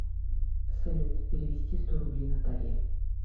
салют перевести сто рублей наталье